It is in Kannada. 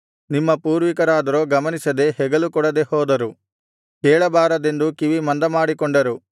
ನಿಮ್ಮ ಪೂರ್ವಿಕರಾದರೋ ಗಮನಿಸದೆ ಹೆಗಲುಕೊಡದೇ ಹೋದರು ಕೇಳಬಾರದೆಂದು ಕಿವಿಮಂದಮಾಡಿಕೊಂಡರು